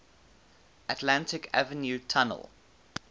atlantic avenue tunnel